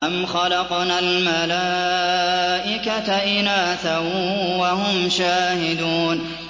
أَمْ خَلَقْنَا الْمَلَائِكَةَ إِنَاثًا وَهُمْ شَاهِدُونَ